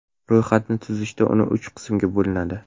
Ro‘yxatni tuzishda uni uch qismga bo‘linadi.